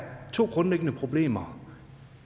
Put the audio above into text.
to grundlæggende problemer